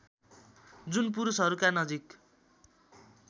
जुन पुरुषहरूका नजिक